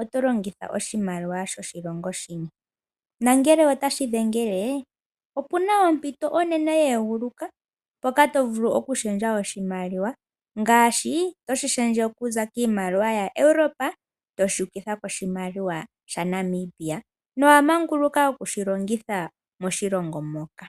oto longitha oshimaliwa shoshilongo shini. Nongele otashi dhengele pu na ompito onene ye eguluka mpoka to vulu okushendja oshimaliwa ngaashi toshi shendje okuza kiimaliwa yaEuropa toshi ukitha kiimaliwa yaNamibia nowa manguluka ku shi longitha moshilongo moka.